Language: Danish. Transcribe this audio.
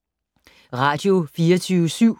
Radio24syv